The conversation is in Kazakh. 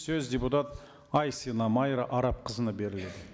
сөз депутат айсина майра арапқызына беріледі